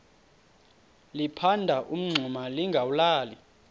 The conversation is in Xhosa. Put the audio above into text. liphanda umngxuma lingawulali